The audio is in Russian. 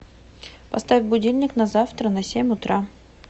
поставь будильник на завтра на семь утра